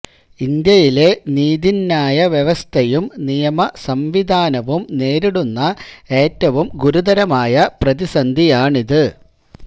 ഇന്ത്യയിലെ നീതിന്യായ വ്യവസ്ഥയും നിയമ സംവിധാനവും നേരിടുന്ന ഏറ്റവും ഗുരുതരമായ പ്രതിസന്ധിയാണിത്